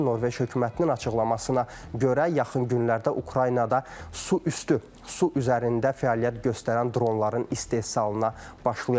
Norveç hökumətinin açıqlamasına görə yaxın günlərdə Ukraynada su üstü, su üzərində fəaliyyət göstərən dronların istehsalına başlayacaqlar.